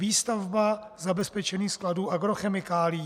výstavba zabezpečení skladů agrochemikálií.